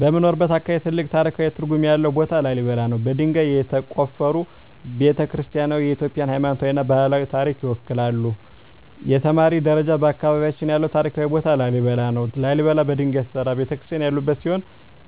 በምኖርበት አካባቢ ትልቅ ታሪካዊ ትርጉም ያለው ቦታ ላሊበላ ነው። በድንጋይ የተቆፈሩ ቤተ-ክርስቲያናትዋ የኢትዮጵያን ሃይማኖታዊና ባህላዊ ታሪክ ይወክላሉ። 2) የተማሪ ደረጃ በአካባቢያችን ያለው ታሪካዊ ቦታ ላሊበላ ነው። ላሊበላ በድንጋይ የተሠሩ ቤተ-ክርስቲያናት ያሉበት ሲሆን